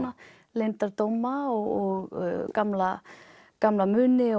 leyndardóma og gamla gamla muni